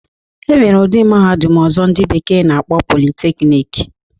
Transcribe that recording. E nwere ụdi mahadum ọzọ ndị bekee na-akpọ 'Polytechnic'